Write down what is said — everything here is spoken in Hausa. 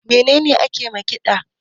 Me ne ne ake ma ƙida?